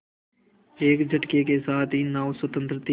एक झटके के साथ ही नाव स्वतंत्र थी